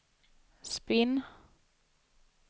spinn